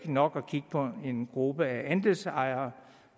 er nok at kigge på en gruppe af andelsejere